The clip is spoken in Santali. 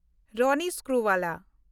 ᱨᱚᱱᱤ ᱥᱠᱨᱩᱵᱟᱞᱟ